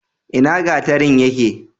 ina gatarin yake?